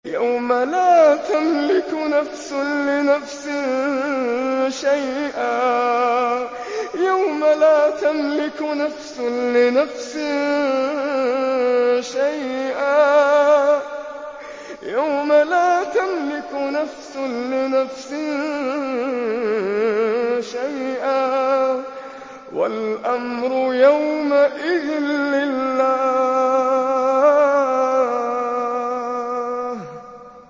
يَوْمَ لَا تَمْلِكُ نَفْسٌ لِّنَفْسٍ شَيْئًا ۖ وَالْأَمْرُ يَوْمَئِذٍ لِّلَّهِ